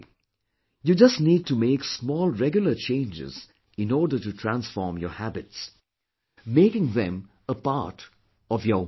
You just need to make small regular changes in order to transform your habits, making them a part of your way of life